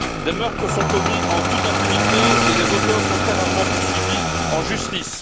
Des meurtres sont commis en toute impunité et les auteurs sont très rarement poursuivis en justice.